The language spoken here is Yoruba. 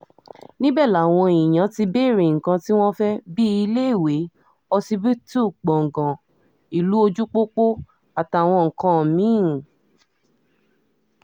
níbẹ̀ làwọn èèyàn ti béèrè nǹkan tí wọ́n fẹ́ bíi iléèwé ọsibítù gbọ̀ngàn ìlú ojúpọ́pọ́ àtàwọn nǹkan mí-ín